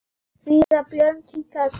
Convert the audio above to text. Síra Björn kinkaði kolli.